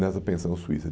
Nessa pensão suíça.